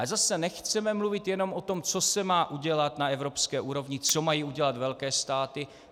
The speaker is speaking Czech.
Ale zase nechceme mluvit jenom o tom, co se má udělat na evropské úrovni, co mají udělat velké státy.